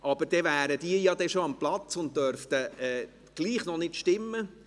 Allerdings wären sie dann bereits an ihren Plätzen und dürften noch nicht mitstimmen.